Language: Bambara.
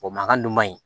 O mankan dun man ɲi